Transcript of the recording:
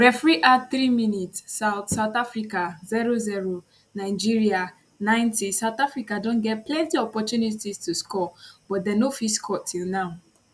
referee add 3 minutes south south africa 00 nigeria 90south africa don get plenti opportunities to score but dem no fit score till now